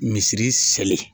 Misiri seli